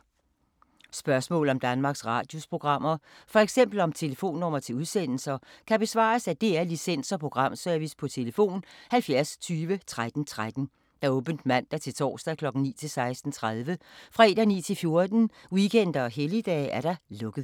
Spørgsmål om Danmarks Radios programmer, f.eks. om telefonnumre til udsendelser, kan besvares af DR Licens- og Programservice: tlf. 70 20 13 13, åbent mandag-torsdag 9.00-16.30, fredag 9.00-14.00, weekender og helligdage: lukket.